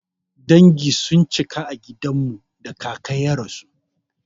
Dangi sun cika a gidan mu da kaka ya rasu.